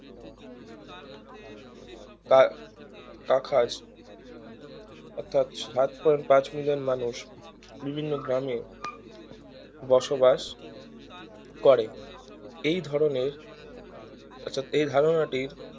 কা কা খাস অর্থাৎ সাত point পাঁচ million মানুষ বিভিন্ন গ্রামে বসবাস করে এই ধরণের আচ্ছা এই ধারণাটির